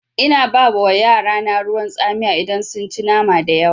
Ina ba yarana ruwan tsamiya idan sun ci nama dayawa.